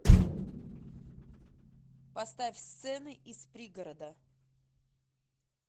поставь сцены из пригорода